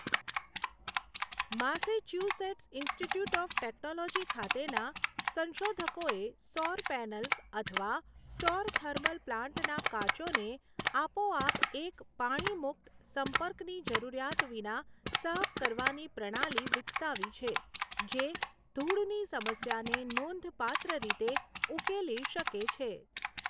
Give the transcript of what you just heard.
Massachusetts Institute of Technology ખાતેના સંશોધકોએ સૌર પૅનલ્સ અથવા સૌર થર્મલ પ્લાન્ટના કાચોને આપોઆપ એક પાણીમુક્ત, સંપર્કની જરૂરિયાત વિના સાફ કરવાની પ્રણાલી વિકસાવી છે જે ધૂળની સમસ્યાને નોંધપાત્ર રીતે ઉકેલી શકે છે.